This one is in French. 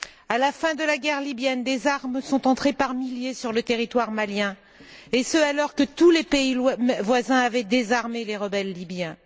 À la fin de la guerre libyenne, des armes sont entrées par milliers sur le territoire malien et ce, alors que tous les pays voisins avaient désarmé les rebelles libyens.